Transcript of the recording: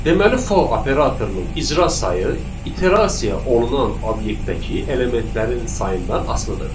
Deməli for operatorunun icra sayı iterasiya olunan obyektəki elementlərin sayından asılıdır.